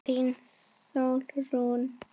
Þín, Sólrún.